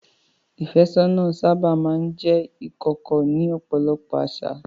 Ìfẹ́sọ́nà sábà máa ń jẹ́ ìkọ̀kọ̀ ní ọ̀pọ̀lọpọ̀ àṣà.